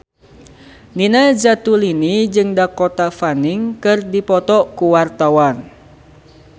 Nina Zatulini jeung Dakota Fanning keur dipoto ku wartawan